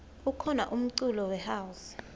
kukhona umculo we house